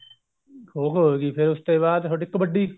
ਖੋ ਖੋ ਹੋ ਗਈ ਫ਼ੇਰ ਉਸ ਤੇ ਬਾਅਦ ਤੁਹਾਡੀ ਕਬੱਡੀ